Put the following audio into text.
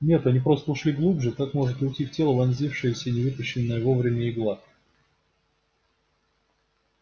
нет они просто ушли глубже как может уйти в тело вонзившаяся и не вытащенная вовремя игла